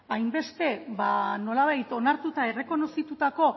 hainbeste nolabait onartuta errekonozitutako